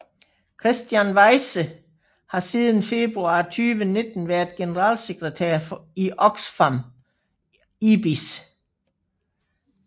Kristian Weise har siden februar 2019 været generalsekretær i Oxfam IBIS